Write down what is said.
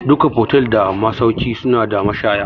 Duka fotel da masauki suna da mashaya